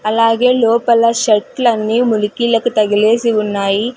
అలాగే లోపల షర్టులు అన్ని ములికీలకి తగిలేసి ఉన్నాయి.